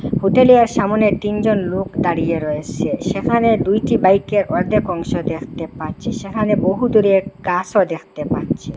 হোটেলেয়ার সামোনে তিনজন লোক দাঁড়িয়ে রয়েসে সেখানে দুইটি বাইকের অর্ধেক অংশ দেখতে পাচ্ছি সেখানে বহুদূরে এক গাসও দেখতে পাচ্ছি।